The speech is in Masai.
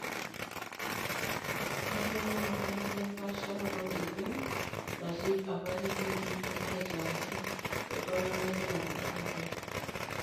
Etoomonutuo irkuti empaasharoto oorkipieu natii apake peidim aitaaki iltung'anak teinapukunoto.